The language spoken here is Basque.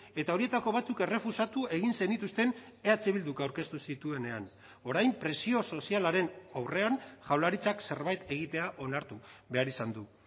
eta horietako batzuk errefusatu egin zenituzten eh bilduk aurkeztu zituenean orain presio sozialaren aurrean jaurlaritzak zerbait egitea onartu behar izan du